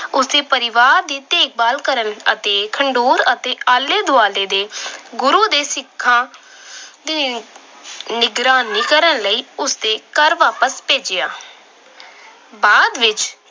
ਉਸ ਦੇ ਪਰਿਵਾਰ ਦੀ ਦੇਖਭਾਲ ਕਰਨ ਅਤੇ ਖਡੂਰ ਅਤੇ ਆਲੇ-ਦੁਆਲੇ ਦੇ ਗੁਰੂ ਦੇ ਸਿੱਖਾਂ ਅਹ ਦੀ ਨਿਗਰਾਨੀ ਕਰਨ ਲਈ ਉਸ ਦੇ ਘਰ ਵਾਪਸ ਭੇਜਿਆ। ਬਾਅਦ ਵਿੱਚ